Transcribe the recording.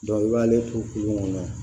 i b'ale to kunun kɔnɔ